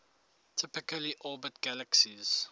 typically orbit galaxies